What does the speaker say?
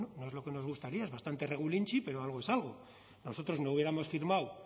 bueno no es lo que nos gustaría es bastante regulinchi pero algo es algo nosotros no hubiéramos firmado